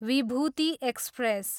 Vibhuti express